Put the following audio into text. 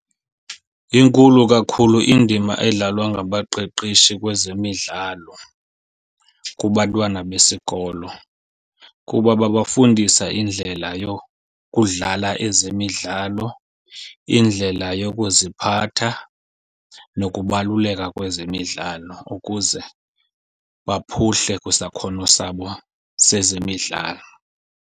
Inkulu kakhulu indima edlalwa ngabaqeqeshi kwezemidlalo kubantwana besikolo, kuba babafundisa indlela yokudlala ezemidlalo, indlela yokuziphatha, nokubaluleka kwezemidlalo ukuze baphuhle kwisakhono sabo sezemidlalo.